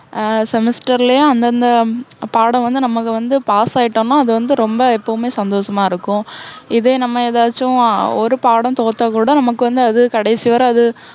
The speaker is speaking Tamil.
ஆஹ் semester லயும், அந்தந்த உம் பாடம் வந்து நமக்கு வந்து pass ஆயிட்டோம்னா, அது வந்து ரொம்ப எப்போவுமே சந்தோஷமா இருக்கும். இதே நம்ம எதாச்சும் ஹம் ஒரு பாடம் தோத்தா கூட, நமக்கு வந்து அது கடைசி வரை அது